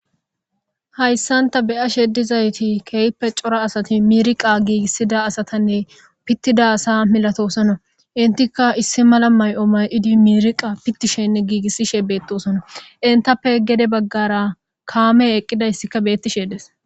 Hayssanta beya shedizayti keeyppe cora asati miriqa giigissida asatanne pittida asa milatosona intika issi mala may'o may'idi miriqa pittishenne giigissishe beettosona intappe gede baggara kaame eqqidayssika bettishe des.